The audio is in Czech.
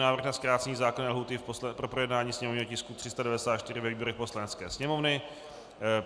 Návrh na zkrácení zákonné lhůty pro projednání sněmovního tisku 394 ve výborech Poslanecké sněmovny